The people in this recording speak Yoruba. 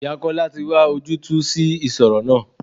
Ìyá Kọ́lá tí wá ojútùú sí ìṣòro náà.